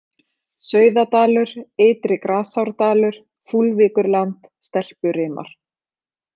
Sauðadalur, Ytri-Grasárdalur, Fúlvíkurland, Stelpurimar